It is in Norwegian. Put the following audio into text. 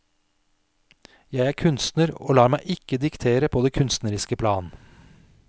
Jeg er kunstner og lar meg ikke diktere på det kunstneriske plan.